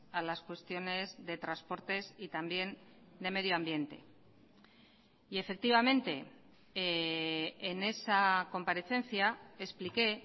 a las cuestiones de transportes y también de medio ambiente y efectivamente en esa comparecencia expliqué